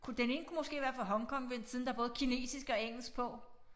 Kunne den ene kunne måske være fra Hong Kong ved siden der både er kinesisk og engelsk på